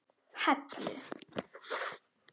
Hellu